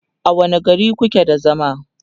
a wani gari kuke da zama?